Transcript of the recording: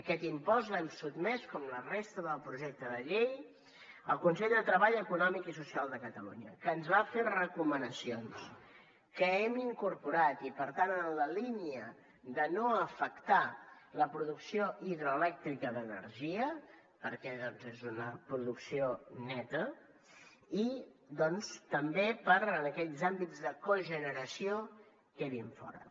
aquest impost l’hem sotmès com la resta del projecte de llei al consell de treball econòmic i social de catalunya que ens va fer recomanacions que hem incorporat i per tant en la línia de no afectar la producció hidroelèctrica d’energia perquè doncs és una producció neta i doncs també perquè aquells àmbits de cogeneració quedin fora